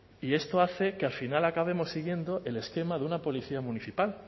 y esto hace que al final acabemos siguiendo el esquema de una policía municipal